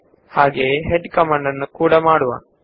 ಹೀಗೆಯೇ ನಾವು head command ನ ಜೊತೆ ಮಾಡೋಣ